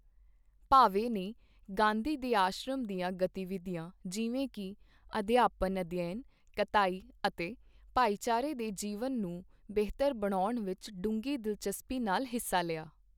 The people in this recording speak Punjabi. ਭਾਵੇ ਨੇ ਗਾਂਧੀ ਦੇ ਆਸ਼ਰਮ ਦੀਆਂ ਗਤੀਵਿਧੀਆਂ ਜਿਵੇਂ ਕਿ- ਅਧਿਆਪਨ ਅਧਿਐਨ, ਕਤਾਈ ਅਤੇ ਭਾਈਚਾਰੇ ਦੇ ਜੀਵਨ ਨੂੰ ਬਿਹਤਰ ਬਣਾਉਣ ਵਿੱਚ ਡੂੰਘੀ ਦਿਲਚਸਪੀ ਨਾਲ ਹਿੱਸਾ ਲਿਆ